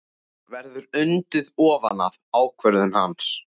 Verður undið ofan af ákvörðun hans?